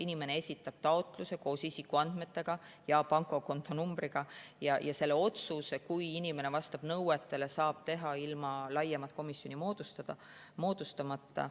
Inimene esitab taotluse koos isikuandmetega ja pangakontonumbriga, ja selle otsuse, kui inimene vastab nõuetele, saab teha ilma laiemat komisjoni moodustamata.